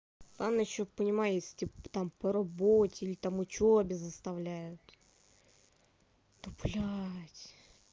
ладно ещё понимаю если типа там по работе или там учёбе заставляют но блядь